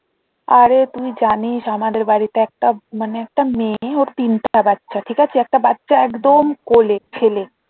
আরে তুই জানিস আমাদের বাড়িতে একটা মানে একটা মেয়ে ওর তিনটা বাচ্চা ঠিক আছে একটা বাচ্চা একদম কোলে ছেলে